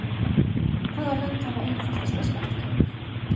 Hvaða lönd hafa einfaldasta skattkerfið?